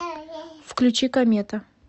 включи комета